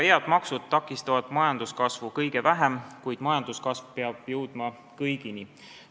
Head maksud takistavad majanduskasvu kõige vähem, kuid majanduskasv peab jõudma kõigini.